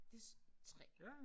Det 3